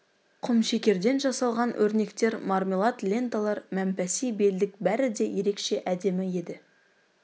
құмшекерден жасалған өрнектер мармелад ленталар мәмпәси белдік бәрі де ерекше әдемі еді